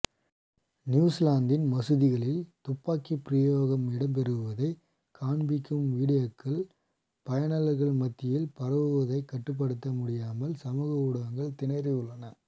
நியுசிலாந்தின் மசூதிகளில் துப்பாக்கி பிரயோகம் இடம்பெறுவதை காண்பிக்கும் வீடியோக்கள் பயனாளர்கள் மத்தியில் பரவுவதை கட்டுப்படுத்த முடியாமல் சமூக ஊடங்கள் திணறியுள்ளன